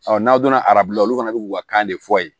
n'aw donna arabu la olu fana bɛ k'u ka kan de fɔ yen